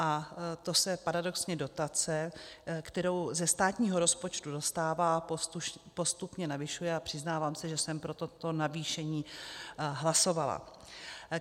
A to se paradoxně dotace, kterou ze státního rozpočtu dostává, postupně navyšuje a přiznávám se, že jsem pro toto navýšení hlasovala.